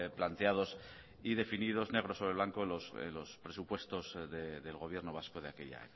planteados y definidos negro sobre blanco los presupuestos del gobierno vasco de aquella